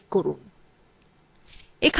এখানে লেখা আছেtype a file name